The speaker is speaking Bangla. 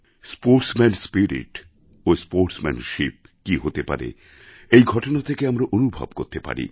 স্পোর্টসম্যান স্পিরিট ও স্পোর্টসম্যানশিপ কী হতে পারে এই ঘটনা থেকে আমরা অনুভব করতে পারি